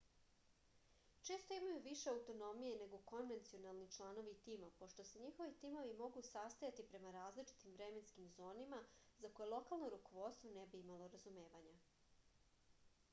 često imaju više autonomije nego konvencionalni članovi timova pošto se njihovi timovi mogu sastajati prema različitim vremenskim zonama za koje lokalno rukovodstvo ne bi imalo razumevanja